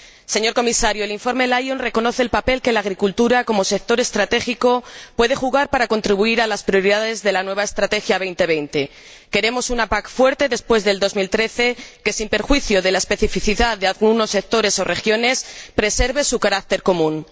Señor Comisario, el informe Lyon reconoce el papel que la agricultura, como sector estratégico, puede desempeñar para contribuir a las prioridades de la nueva Estrategia Europa 2020. Queremos una PAC fuerte después de 2013, que, sin perjuicio de la especificidad de algunos sectores o regiones, preserve su carácter común.